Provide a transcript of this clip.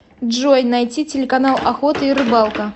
джой найти телеканал охота и рыбалка